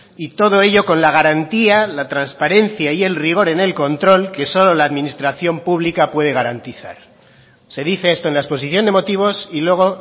y todo ello con la garantía la transparencia y el rigor en el control que solo la administración pública puede garantizar se dice esto en la exposición de motivos y luego